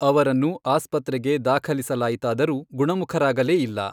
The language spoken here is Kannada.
ಅವರನ್ನು ಆಸ್ಪತ್ರೆಗೆ ದಾಖಲಿಸಲಾಯಿತಾದರೂ ಗುಣಮುಖರಾಗಲೇ ಇಲ್ಲ.